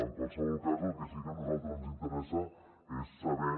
en qualsevol cas el que sí que a nosaltres ens interessa és saber